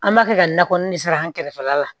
An b'a kɛ ka na kɔnni de sara an kɛrɛfɛla la